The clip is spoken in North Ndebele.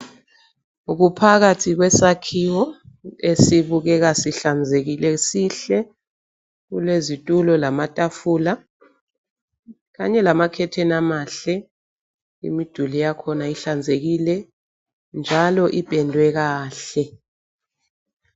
Kuphakathi kwesakhiwo esibukeka sihlanzekile sihle kulezitulo lamatafula kanye lama khetheni amahle imiduli yakhona ihlanzekile njalo ipendwe kahle.